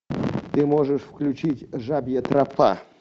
ты можешь включить жабья тропа